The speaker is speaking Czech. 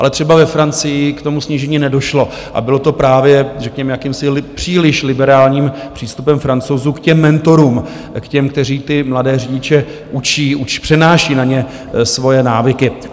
Ale třeba ve Francii k tomu snížení nedošlo a bylo to právě řekněme jakýmsi příliš liberálním přístupem Francouzů k těm mentorům, k těm, kteří ty mladé řidiče učí, přenášejí na ně svoje návyky.